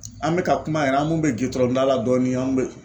An bɛ ka kuma yan an mun bɛ gerendilan dɔɔni an bɛ.